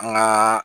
An ŋaa